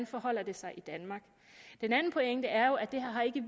forholder sig i danmark den anden pointe er jo at det her ikke